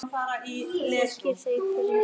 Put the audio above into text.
Ég þakkaði þeim fyrir.